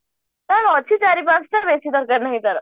ତାର ଅଛି ଚାରି ପଞ୍ଚହଳ ବେଶି ଦରକାର ନାହିଁ ତାର